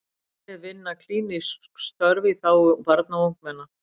Aðrir vinna klínísk störf í þágu barna og ungmenna.